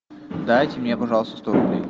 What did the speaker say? дайте мне пожалуйста сто рублей